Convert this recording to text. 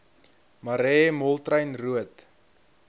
marais moltrein roodt